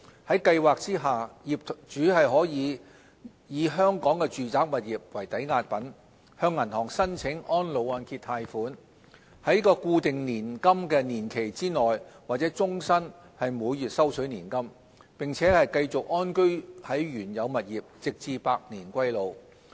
在計劃下業主可以以香港的住宅物業為抵押品，向銀行申請安老按揭貸款，在固定年金年期內或終身每月收取年金，並繼續安居在原有物業直至百年歸老。